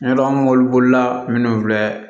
N'a dɔn mobilibolila minnu filɛ